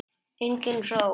Engin sól.